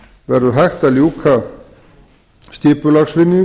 verður hægt að ljúka skipulagsvinnu